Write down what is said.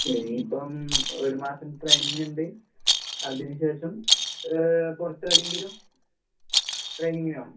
ഇനിയിപ്പം ഒരു മാസം ട്രൈനിങ്ങിണ്ട്. അതിന് ശേഷം ഏ പൊറത്തെവടേങ്കിലും ട്രൈനിങ്ങിന് പോണം.